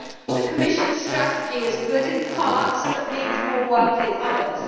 The Commission strategy is good in parts, but needs more work in others.